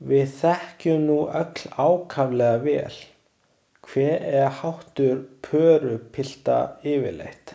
Við þekkjum nú öll ákaflega vel, hver er háttur pörupilta yfirleitt.